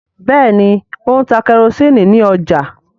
Béèni O ń tá kerosiini ní ọjà.